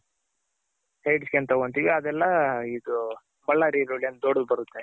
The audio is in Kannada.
sides ಗೆ ಏನ್ ತಗೊಂತಿವಿ ಅದೆಲ್ಲ ಇದು ಬಳ್ಳಾರಿ ಈರುಳ್ಳಿ ಅಂತ ದೊಡ್ಡದು ಬರುತ್ತೆ ನೀವ್ ನೋಡಿರ್ತಿರ.